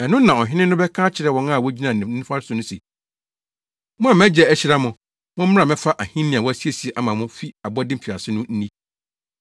“Ɛno na Ɔhene no bɛka akyerɛ wɔn a wogyina ne nifa so no se, ‘Mo a mʼagya ahyira mo, mommra mmɛfa ahenni a wɔasiesie ama mo fi abɔde mfiase no nni!